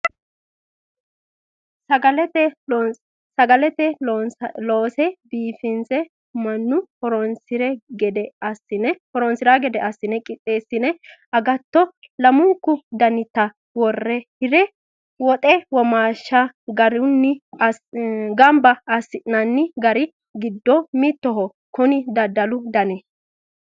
Sagale loonse biifinse mannu hasire gede assine qixxeesine agatto lamunku danitta wore hire woxe womaashsha gamba assi'nanni gari giddo mittoho kuni daddalu dani.